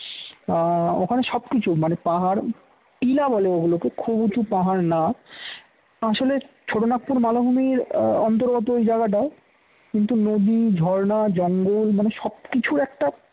ওখানে সবকিছু মানে পাহাড় টিলা বলে ওগুলোকে খুব উঁচু পাহাড় না আসলে ছোটনাগপুর মালভূমির অন্তর্গত ওই জায়গাটা কিন্তু নদী ঝরনা জঙ্গল মানে সব কিছুর একটা